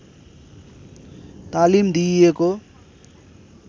तालिम दिइएको